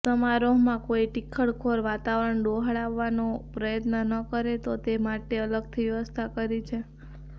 સમારોહમાં કોઇ ટીખળખોર વાતાવરણ ડહોળવાનો પ્રયત્ન ન કરે તો તે માટે અલગથી વ્યવસ્થા કરી છે